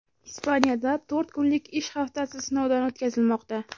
Ispaniyada to‘rt kunlik ish haftasi sinovdan o‘tkazilmoqda.